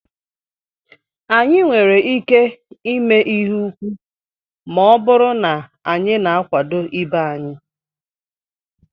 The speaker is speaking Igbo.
Anyị nwere ike ihe úkwú ma ọ bụrụ na anyị na-akwado ibe anyị